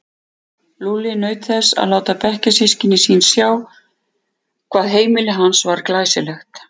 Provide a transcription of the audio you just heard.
Lúlli naut þess að láta bekkjarsystkini sín sjá hvað heimili hans var glæsilegt.